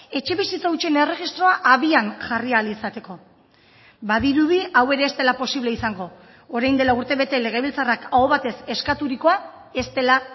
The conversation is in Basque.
etxebizitza hutsen erregistroa abian jarri ahal izateko badirudi hau ere ez dela posible izango orain dela urtebete legebiltzarrak aho batez eskaturikoa ez dela